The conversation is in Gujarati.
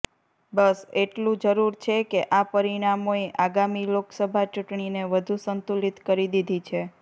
બસ એટલું જરૂર છે કે આ પરિણામોએ આગામી લોકસભા ચૂંટણીને વધુ સંતુલિત કરી દીધી છે